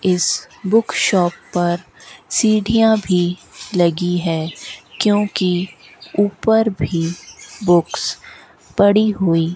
इस book shop पर सीढ़ियां भी लगी है क्योंकि ऊपर भी बुक्स पड़ी हुई --